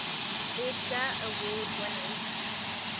edgar award winners